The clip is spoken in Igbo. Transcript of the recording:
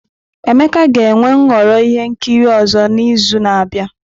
Emeka ga-enwe nhọrọ ihe nkiri ọzọ n'izu na-abịa.